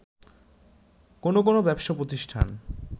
কোনো কোনো ব্যবসা প্রতিষ্ঠান